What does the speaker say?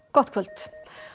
gott kvöld